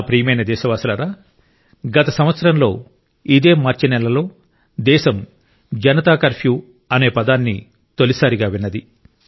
నా ప్రియమైన దేశవాసులారా గత సంవత్సరంలో ఇదే మార్చినెలలో దేశం జనతా కర్ఫ్యూ అనే పదాన్ని తొలిసారిగా విన్నది